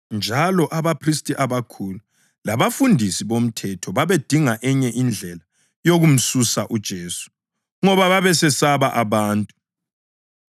njalo abaphristi abakhulu labafundisi bomthetho babedinga enye indlela yokumsusa uJesu, ngoba babesesaba abantu.